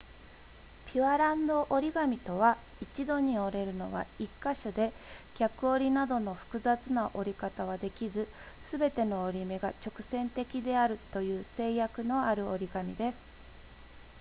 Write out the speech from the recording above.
ピュアランド折り紙とは一度に折れるのは1か所で逆折りなどの複雑な折り方はできずすべての折り目が直線的であるという制約のある折り紙です